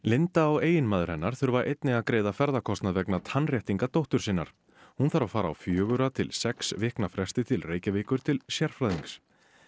linda og eiginmaður hennar þurfa einnig að greiða ferðakostnað vegna tannréttinga dóttur sinnar hún þarf að fara á fjögurra til sex vikna fresti til Reykjavíkur til sérfræðings